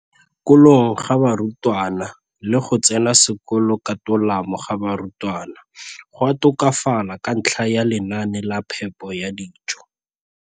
kolong ga barutwana le go tsena sekolo ka tolamo ga barutwana go a tokafala ka ntlha ya lenaane la phepo ya dijo.